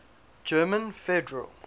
german federal